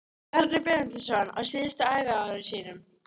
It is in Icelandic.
Bjarni Benediktsson á síðustu æviárum sínum.